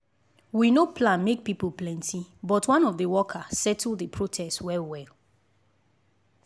we no plan make people plenty but one of the worker settle the protest well well.